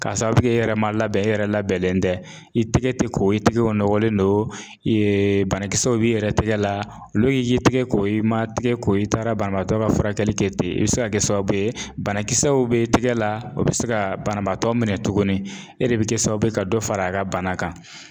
K'a sababu kɛ e yɛrɛ ma labɛn e yɛrɛ labɛnlen tɛ. I tɛgɛ te ko i tigɛw nɔgɔlen don, banakisɛw b'i yɛrɛ tɛgɛ la, lu y'i ye tigɛ ko i ma tigɛ ko i taara banabaatɔ ka furakɛli kɛ ten, i bi se ka kɛ sababu ye banakisɛw be tɛgɛ la o be se ka banabaatɔ minɛ tuguni. E de be kɛ sababu ye ka dɔ far'a ka bana kan.